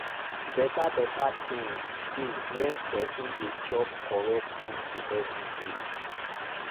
beta beta tinz dey when pesin dey chop correct food everyday